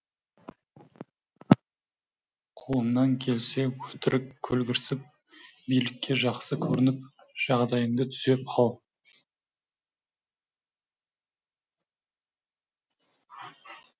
қолыңнан келсе өтірік көлгірсіп билікке жақсы көрініп жағдайыңды түзеп ал